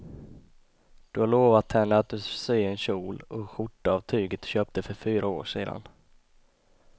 Du har lovat henne att du ska sy en kjol och skjorta av tyget du köpte för fyra år sedan.